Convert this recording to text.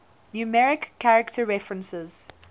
numeric character references